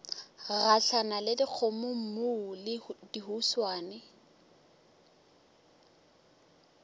gahlana le dikgomommuu le dihuswane